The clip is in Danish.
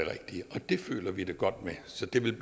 har vi det godt med så det vil